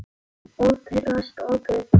Og pirrast og puða.